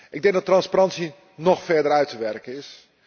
Ik denk dat transparantie nog verder uit te werken is.